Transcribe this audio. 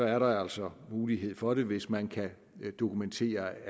er der altså mulighed for det hvis man kan dokumentere